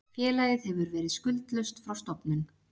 Félagið hefur verið skuldlaust frá stofnun